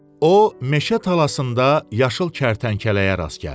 O meşə talasında yaşıl kərtənkələyə rast gəldi.